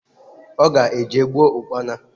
Oga eje gboo Ụkpana.